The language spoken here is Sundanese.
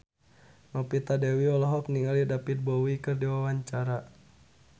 Novita Dewi olohok ningali David Bowie keur diwawancara